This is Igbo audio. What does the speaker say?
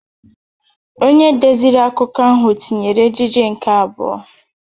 Onye deziri akụkọ ahụ tinyere ejije nke abụọ